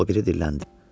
O biri dilləndi: